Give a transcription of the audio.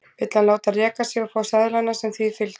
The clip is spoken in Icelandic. Vill hann láta reka sig og fá seðlana sem því fylgja?